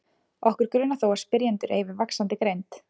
Okkur grunar þó að spyrjendur eigi við vaxandi greind.